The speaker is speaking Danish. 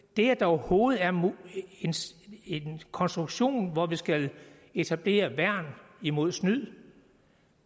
det at der overhovedet er en konstruktion hvor vi skal etablere værn imod snyd